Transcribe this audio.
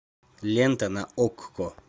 лента на окко